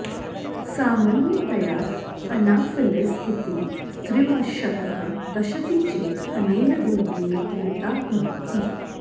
सामन्यतया अनाफिलिस् इति स्त्रीमशकः दशति चेत् अनेन रोगेण पीडिताः भवन्ति